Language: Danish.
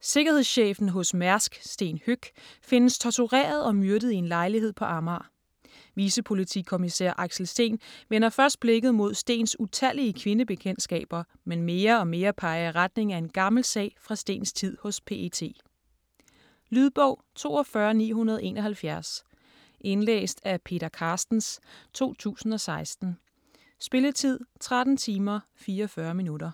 Sikkerhedschefen hos Mærsk Sten Høeck findes tortureret og myrdet i en lejlighed på Amager. Vicepolitikommissær Axel Steen vender først blikket mod Stens utallige kvindebekendtskaber, men mere og mere peger i retning af en gammel sag fra Stens tid hos PET. Lydbog 42971 Indlæst af Peter Carstens, 2016. Spilletid: 13 timer, 44 minutter.